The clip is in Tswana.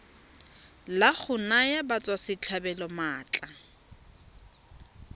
la go naya batswasetlhabelo maatla